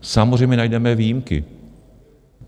Samozřejmě najdeme výjimky.